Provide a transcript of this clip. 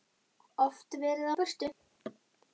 Oft verið á burtu.